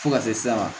Fo ka se s'a ma